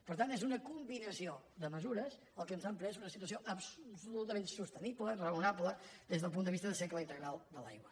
per tant és una combinació de mesures el que ens ha empès a una situació absolutament sostenible raonable des del punt de vista del cicle integral de l’aigua